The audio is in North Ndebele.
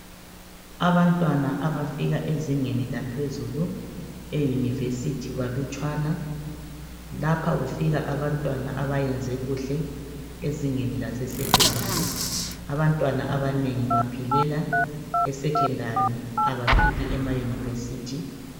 Abantwana abafika ezingeni laphezulu eYunivesi balutshwana. Lapha kufika abantwana abayenze kuhle ezingeni laseSekhondari .Abantwana abanengi baphelela eSekhondari abafiki emaYunivesi .